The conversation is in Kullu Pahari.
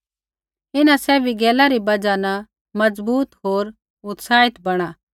इन्हां सैभी गैला री बजहा न मज़बूत होर उत्साहित बणा